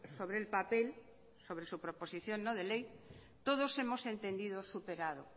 sobre el papel sobre su proposición no de ley todos hemos entendido superado